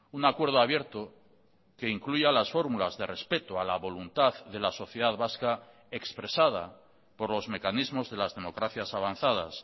un acuerdo abierto que incluya las fórmulas de respeto a la voluntad de la sociedad vasca expresada por los mecanismos de las democracias avanzadas